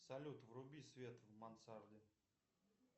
салют вруби свет в мансарде